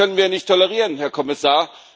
Das können wir nicht tolerieren, Herr Kommissar!